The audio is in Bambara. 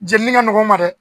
Jenini ka nɔgɔ n ma dɛ